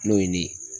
N'o ye nin ye